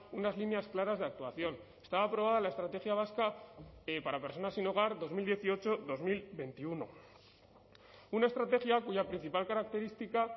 unas líneas claras de actuación estaba aprobada la estrategia vasca para personas sin hogar dos mil dieciocho dos mil veintiuno una estrategia cuya principal característica